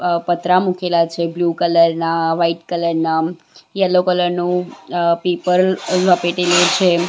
પતરા મુકેલા છે બ્લુ કલરના વાઈટ કલરના યલો કલરનું અહ પીપર લપેટેલલું છે.